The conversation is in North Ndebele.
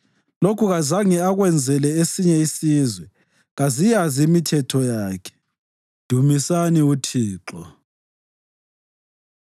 Lokhu kazange akwenzele esinye isizwe; kaziyazi imithetho yakhe. Dumisani uThixo.